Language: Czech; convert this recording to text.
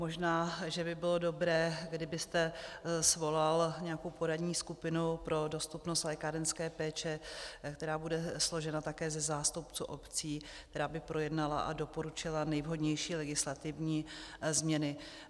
Možná že by bylo dobré, kdybyste svolal nějakou poradní skupinu pro dostupnost lékárenské péče, která bude složena také ze zástupců obcí, která by projednala a doporučila nejvhodnější legislativní změny.